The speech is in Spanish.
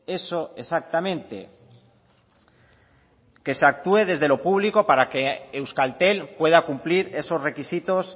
eso exactamente que se actúe desde lo público para que euskaltel pueda cumplir esos requisitos